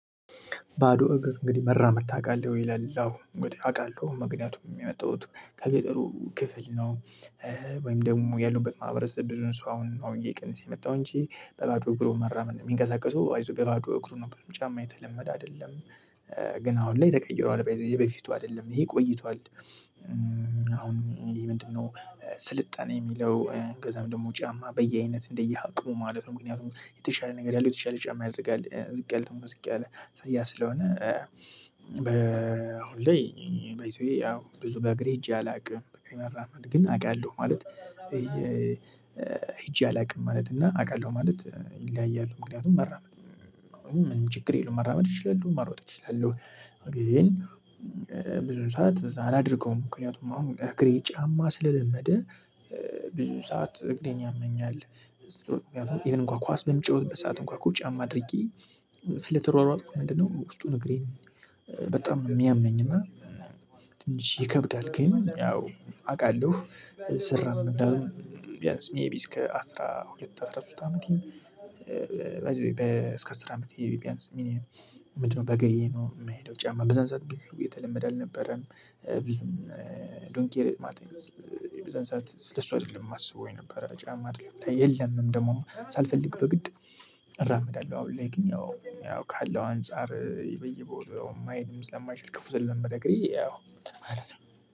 ባዶ እግር እንግዲህ መራመድ ታውቃለህ ወይ ይላል አወ እንግዲህ አውቃለሁ ምክንያቱም የመጣዉት ከገጠሩ ክፍል ነው። ወይም ደግሞ ያለውበት ማህበረሰብ ብዙን ሰው አሁን ነው እየቀነሰ የመጣው እንጂ በባዶ እግሩ መራመድ የሚንቀሳቀሱ አይዞህ በባዶ እግሩ ነበር ጫማ የተለመደ አይደለም። ግን አሁን ላይ ተቀይሯል ባይ ዘ ወይ የበፊቱ አይደለም ይህ ቆይቷል። አሁን ይሄ ምንድነው? ስልጣኔ የሚለው ከዛም ደግሞ ጫማ በየአይነት እንደየአቅሙ ማለት ነው። ምክንያቱም የተሻለ ነገር ያለው የተሻለ ጫማ ያደርጋል ዝቅ ያለ ደግሞ ዝቅ ያለ ስለዚህ ያ ስለሆነ። በአሁን ላይ ባይ ዘ ዌ ያው ብዙ በእግሬ ሂጄ አላውቅም። ግን አውቃለሁ ማለት ሄጄ አላውቅም ማለት እና አውቃለሁ ማለት ይለያያል። ምክንያቱም መራመድ ምንም ችግር የለውም መራመድ እችላለህ መሮጥ እችላለህ። ግን ብዙ ሰዓት እዛ አላደርገውም ምክንያቱም አሁን እግሬ ጫማ ስለለመደ። ብዙ ሰዓት እግሬን ያመኛል። እንኳን ኳስ በምጫወትበት ሰዓት እንኳን እኮ ጫማ አድርጌ ስለተሯሯጥኩ ምንድነው ውስጡን እግሬን በጣም የሚያመኝ እና። ትንሽ ይከብዳል ግን ያው አውቃለሁ ስራመድ እንዳልኩህ ቢያንስ ሜይቢ እስከ አስራ ሁለት አስራ ሶስት አመቴም። ባይ ዘ ዌይ በ እስከ አስራ አመት ቢያንስ ሚኒመም ምንድነው? በእግሬ ነው የምሄደው ጫማ በዛን ሰዓት ብዙ የተለመደ አልነበረም። ብዙም ዶን ኬር ማለት። በዛን ሰዓት ስለሱ አይደለም የማስበው የነበረ ጫማ አይደለም የለምም ደግሞ ሳልፈልግ በግድ። እራመዳለሁ አሁን ላይ ግን እኛ ካለው አንፃር በየቦታው መሄድም ስለማይችል ክፉ ስለለመደ እግሬ ማለት ነው።